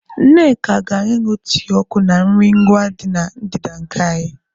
Nneka gara ịñụ tii ọkụ na nri ngwa dị na ndịda nke anyị.